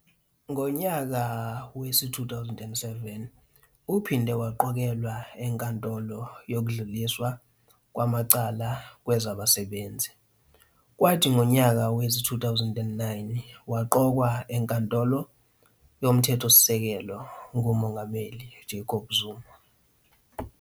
Ngo nyaka wezi - 2007 uphinde waqokelwa eNkantolo yokuDluliswa kwamaCala kwezabaSebenzi, kwathi ngonyaka wezi - 2009 waqokwa eNkantolo yoMthethosisekelo nguMengameli Jacob Zuma.